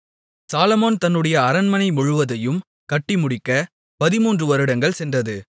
சாலொமோன் தன்னுடைய அரண்மனை முழுவதையும் கட்டிமுடிக்க 13 வருடங்கள் சென்றது